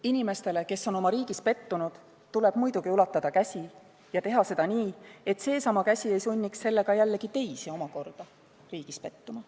Inimestele, kes on oma riigis pettunud, tuleb ulatada käsi ja teha seda nii, et seesama käsi ei sunniks sellega omakorda teisi riigis pettuma.